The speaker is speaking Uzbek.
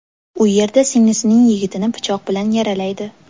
U yerda singlisining yigitini pichoq bilan yaralaydi.